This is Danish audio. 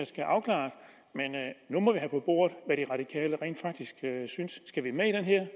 skal afklares men nu må vi have på bordet hvad de radikale rent faktisk synes skal vi med